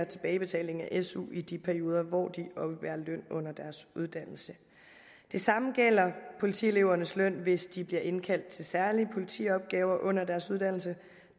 tilbagebetaling af su i de perioder hvor de oppebærer løn under deres uddannelse det samme gælder politielevernes løn hvis de bliver indkaldt til særlige politiopgaver under deres uddannelse